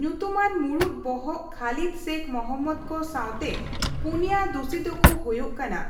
ᱧᱩᱛᱩᱢᱟᱱ ᱢᱩᱲᱩᱫ ᱵᱚᱦᱚᱜ ᱠᱷᱟᱞᱤᱫᱽ ᱥᱮᱹᱠᱷ ᱢᱚᱦᱚᱢᱢᱚᱫᱽ ᱠᱚ ᱥᱟᱣᱛᱮ ᱯᱩᱱᱭᱟᱹ ᱫᱩᱥᱤ ᱫᱚᱠᱚ ᱦᱳᱭᱳᱜ ᱠᱟᱱᱟ